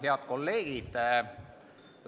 Head kolleegid!